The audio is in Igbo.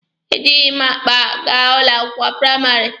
E jịghị m akpa gaa ụlọ akwụkwọ praịmarị.